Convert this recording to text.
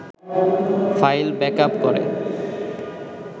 file backup করে